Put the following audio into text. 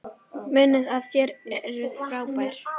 Munið að þið eruð frábær!